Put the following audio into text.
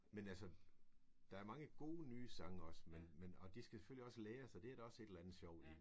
Men altså der er mange gode nye sange også men men og de skal selvfølgelig læres og det er der også et eller andet sjovt i